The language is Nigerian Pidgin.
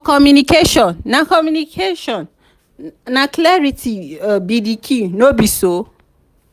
for communication na communication na clarity be di key no be so?